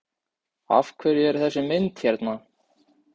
Af hverju er þessi mynd hérna?